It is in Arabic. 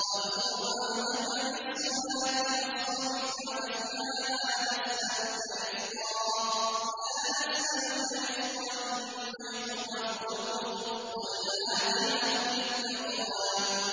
وَأْمُرْ أَهْلَكَ بِالصَّلَاةِ وَاصْطَبِرْ عَلَيْهَا ۖ لَا نَسْأَلُكَ رِزْقًا ۖ نَّحْنُ نَرْزُقُكَ ۗ وَالْعَاقِبَةُ لِلتَّقْوَىٰ